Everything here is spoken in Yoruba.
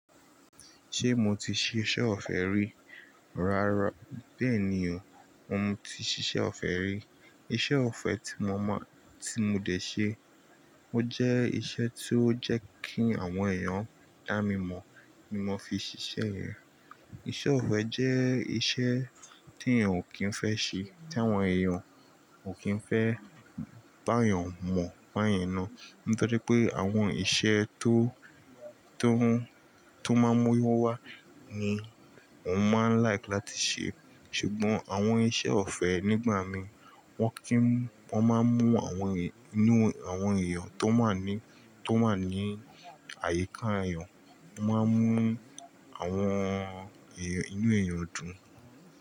Ṣé mo ti ṣe iṣẹ́ ọ̀fẹ́ rí? Rárá, bẹ́ẹ̀ni o, mo ti ṣiṣẹ́ ọ̀fẹ́ rí. Iṣẹ́ ọ̀fẹ́ tí mo mọ, tí mo dẹ̀ ṣe. Ó jẹ́ iṣẹ́ tí ó jẹ́ kí àwọn èèyàn dá mi mọ̀ ni mo fi ṣiṣẹ́ rẹ̀. Ìṣẹ́ ọ̀fẹ́ jẹ́ iṣẹ́ tí èèyàn ò kí ń fẹ́ ṣe, tí àwọn èèyàn ò kí ń fẹ́ bá èèyàn mọ̀, bá yen na. Nítorí pé àwọn iṣẹ́ tó, tó ń, tó máa ń mú owó wá ni òun máa ń like láti ṣe. Ṣùgbọ́n àwọn iṣẹ́ ọ̀fẹ́ nígbà mi wọ́n kì í, wọ́n máa ń mú àwọn èè, inú àwọn èèyàn tó máa ń ní, tó máa ń ní àyíká èèyàn, wọ́n máa ń mú àwọn èèyàn, inú èèyàn dùn.